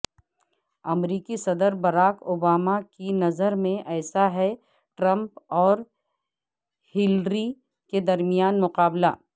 امریکی صدر Barack Obama کی نظر میں ایسا ہے ٹرمپ اور ہیلری کے درمیان مقابلہ